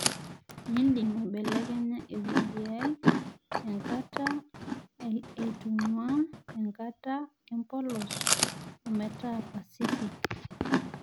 indim aibelekenya ewueji ai enkata aitung'uaa enkata empolos ometaa pasifik